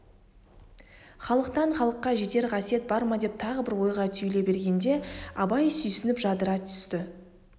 халықтан халыққа жетер қасиет бар ма деп тағы бір ойға түйіле бергенде абай сүйсініп жадырай түсті